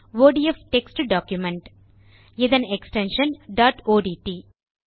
ODF text document இதன் extension dot ஒட்ட்